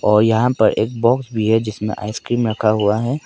और यहां पर एक बॉक्स भी है जिसमें आइसक्रीम रखा हुआ है।